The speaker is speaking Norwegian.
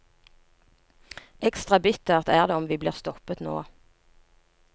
Ekstra bittert er det om vi blir stoppet nå.